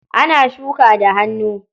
Ana shuka da hannu.